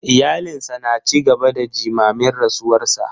Iyalinsa na ci gaba da jimamin rasuwarsa.